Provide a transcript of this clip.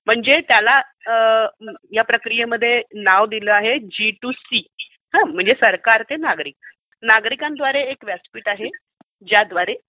म्हणजे त्याला या प्रक्रियेमध्ये नाव दिलं आहे जी टू सी. म्हणजे सरकार ते नागरिक. नागरिकांद्वारे एक व्यासपीठ आहे ज्याद्वारे